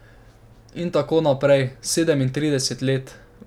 In tako naprej, sedemintrideset let.